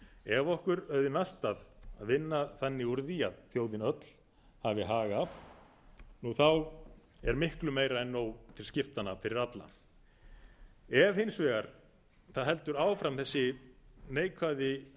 ef okkur auðnast að vinna þannig úr því að þjóðin öll hafi hag af er miklu meira en nóg til skiptanna fyrir alla ef hins vegar það heldur áfram þessi neikvæða